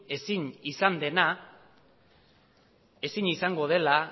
ezin izan dena ezin izango dela